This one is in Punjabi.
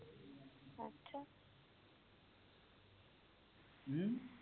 ਹਮ